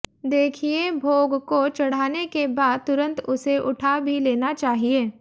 देखिये भोग को चढ़ाने के बाद तुरंत उसे उठा भी लेना चाहिए